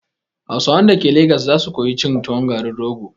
Hausawan dake lagos za su koyi cin tuwon garin rogo